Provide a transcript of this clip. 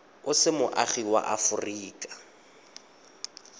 o se moagi wa aforika